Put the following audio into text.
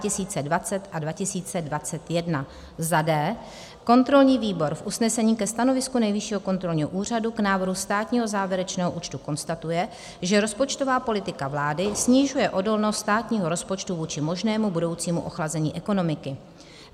d) kontrolní výbor v usnesení ke stanovisku Nejvyššího kontrolního úřadu k návrhu státního závěrečného účtu konstatuje, že rozpočtová politika vlády snižuje odolnost státního rozpočtu vůči možnému budoucímu ochlazení ekonomiky.